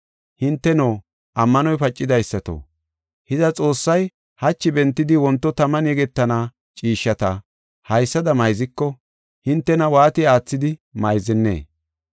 Hinteno, ammanoy pacidaysato, hiza, Xoossay hachi bentidi wonto taman yegetana ciishshata haysada mayziko, hintena waati aathidi mayzennee?